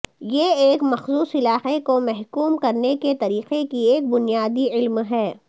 یہ ایک مخصوص علاقے کو محکوم کرنے کے طریقے کی ایک بنیادی علم ہے